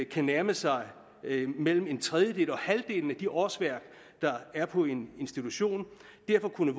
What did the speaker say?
kan nærme sig mellem en tredjedel og halvdelen af de årsværk der er på en institution derfor kunne